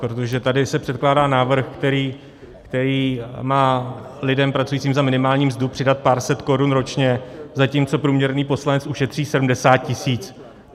Protože tady se předkládá návrh, který má lidem pracujícím za minimální mzdu přidat pár set korun ročně, zatímco průměrný poslanec ušetří 70 tisíc.